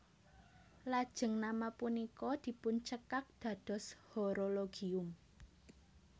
Lajeng nama punika dipuncekak dados Horologium